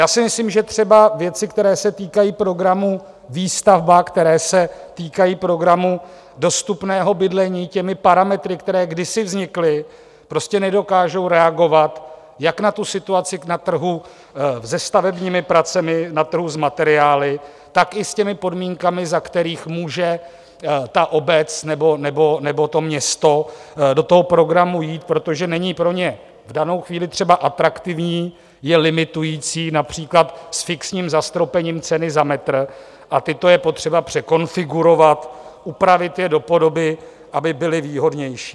Já si myslím, že třeba věci, které se týkají programu Výstavba, které se týkají programu dostupného bydlení, těmi parametry, které kdysi vznikly, prostě nedokážou reagovat jak na tu situaci na trhu se stavebními pracemi, na trhu s materiály, tak i s těmi podmínkami, za kterých může ta obec nebo to město do toho programu jít, protože není pro ně v danou chvíli třeba atraktivní, je limitující například s fixním zastropením ceny za metr, a tyto je potřeba překonfigurovat, upravit je do podoby, aby byly výhodnější.